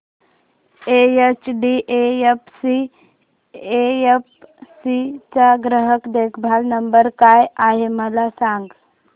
HDFC AMC चा ग्राहक देखभाल नंबर काय आहे मला सांग